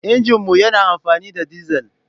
Injin mu yana amfani da dizal.